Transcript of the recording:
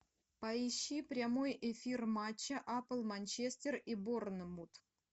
поищи прямой эфир матча апл манчестер и борнмут